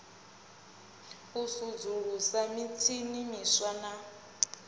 u sudzulusa mitshini miswa na